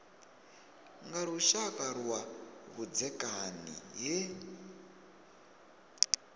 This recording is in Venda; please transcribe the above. nga lushaka lwa vhudzekani he